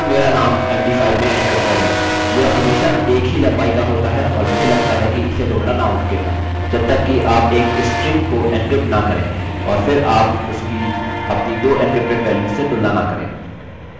यह हमेशा एक ही लम्बाई का होता है और मुझे लगता है कि इसे तोड़ना नामुमकिन है जबतक कि आप एक स्ट्रिंग को एन्क्रिप्ट न करें और फिर आप उसकी अपनी दो एन्क्रिप्टेड वैल्यूस से तुलना न करें